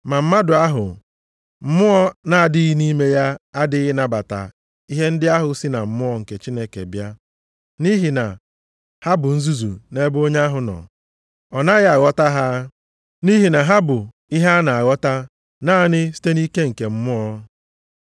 Ma mmadụ ahụ Mmụọ na-adịghị nʼime ya adịghị anabata ihe ndị ahụ sị na Mmụọ nke Chineke bịa, nʼihi na ha bụ nzuzu nʼebe onye ahụ nọ. Ọ naghị aghọta ha, nʼihi na ha bụ ihe a na-aghọta naanị site nʼike nke Mmụọ. + 2:14 Mmụọ nʼebe a, na-ekwu banyere Mmụọ nke si na Chineke.